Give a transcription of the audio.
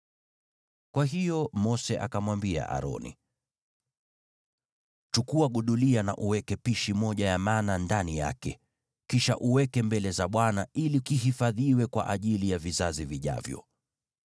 Kwa hiyo Mose akamwambia Aroni, “Chukua gudulia na uweke pishi moja ya mana ndani yake. Kisha uweke mbele za Bwana ili kihifadhiwe kwa ajili ya vizazi vijavyo.”